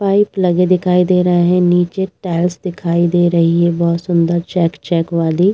pipe लगे दिखाई दे रहे हैं नीचे टाइल्स दिखाई दे रही है बहोत सुंदर चेक चेक वाली |